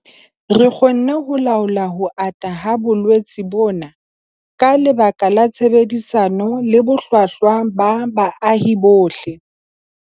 Re kgonne ho laola ho ata ha bolwetse bona ka lebaka la tshebedisano le bohlwahlwa ba baahi bohle.